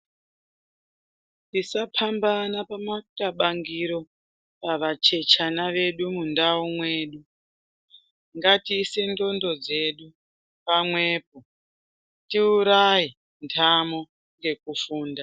Tisapambana pamakabangiro pava chechana vedu mundau mwedu. Ngatiise ndxondo dzedu pamwepo tiuraye ntamo ngekufunda.